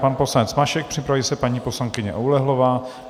Pan poslanec Mašek, připraví se paní poslankyně Oulehlová.